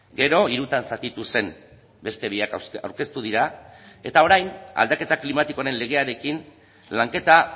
gero hirutan zatitu zen beste biak aurkeztu dira eta orain aldaketa klimatikoaren legearekin lanketa